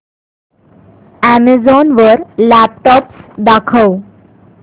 Amazon वर laptops दाखव